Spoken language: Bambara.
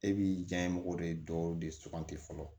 E b'i janye mɔgɔ de dɔw de suganti fɔlɔ